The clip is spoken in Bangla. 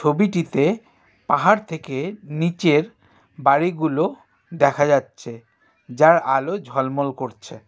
ছবিটিতে পাহাড় থেকে নীচের বাড়িগুলো দেখা যাচ্ছে যার আলো ঝলমল করছে .